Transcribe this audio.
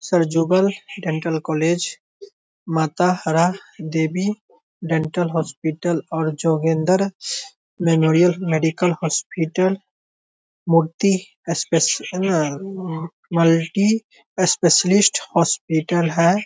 सर्जुबल dental college माता हरा देबी डेंटल हॉस्पिटल और जोगेंद्र मेमोरियल मेडिकल हॉस्पिटल मूर्ति इस्पेस न अ मल्टी स्पेशलिस्ट हॉस्पिटल है।